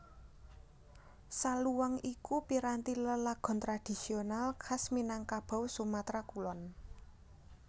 Saluang iku piranti lelagon tradhisional khas Minangkabau Sumatra Kulon